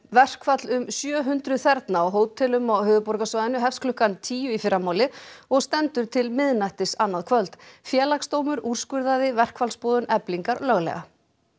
verkfall um sjö hundruð þerna á hótelum á höfuðborgarsvæðinu hefst klukkan tíu í fyrramálið og stendur til miðnættis annað kvöld Félagsdómur úrskurðaði verkfallsboðun Eflingar löglega